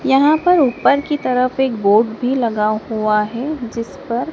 यहां पर ऊपर की तरफ एक बोर्ड भी लगा हुआ है जिस पर--